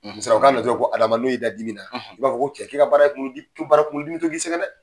ko Adama n'o y'i da dimi na i b'a fɔ ko cɛ k'e ka baara ye kunkolo dimi baara kunkolo dimi bɛ to k'i sɛgɛn dɛ.